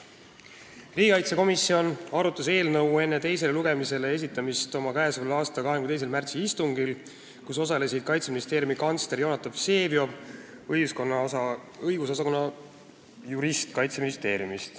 Riigikaitsekomisjon arutas eelnõu enne teisele lugemisele esitamist oma k.a 22. märtsi istungil, kus osalesid Kaitseministeeriumi kantsler Jonatan Vseviov ja õigusosakonna jurist.